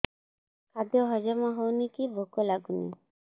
ଖାଦ୍ୟ ହଜମ ହଉନି କି ଭୋକ ଲାଗୁନି